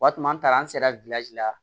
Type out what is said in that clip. Wa an taara an sera la